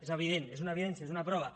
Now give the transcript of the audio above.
és evident és una evidència és una prova